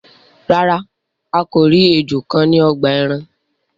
Ràrá a kọ ríi ejò kán ní ogbà èràn.